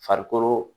Farikolo